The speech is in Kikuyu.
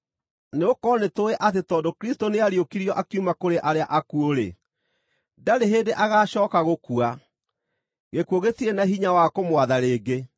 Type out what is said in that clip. Nĩgũkorwo nĩtũũĩ atĩ tondũ Kristũ nĩariũkirio akiuma kũrĩ arĩa akuũ-rĩ, ndarĩ hĩndĩ agaacooka gũkua; gĩkuũ gĩtirĩ na hinya wa kũmwatha rĩngĩ.